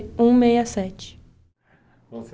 um meia sete